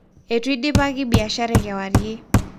etu idipaki biashara e kewarie